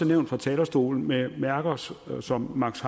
nævnt fra talerstolen med mærker som som max